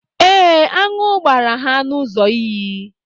Ee, aṅụ gbara ha n'ụzọ iyi